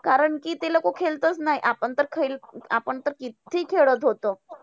कारण कि ते लोकं खेळत चं नाही. आपण तर खेल आपण तर किती खेळत होतो.